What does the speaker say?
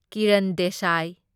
Kiran Desai